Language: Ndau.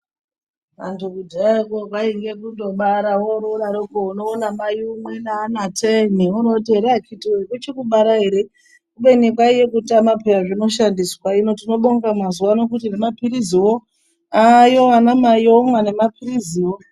Antu kudhayako kwaingd kungobara wodaroko unoona Mai vamweni vane vana teni woroti akiti woye kuchiri kubara ere ubeni kwaiva kutamba piya zvinoshandiswa hino tinobonga mazuva ano nemapirizi ayo vomwa nemapirizi.